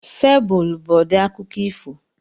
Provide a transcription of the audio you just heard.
Febụl bụ ụdị akụkọ ifo.